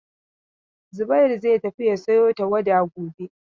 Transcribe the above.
Zubairu zai tafi ya sayo tawada gobe.